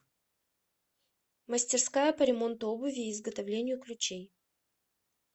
мастерская по ремонту обуви и изготовлению ключей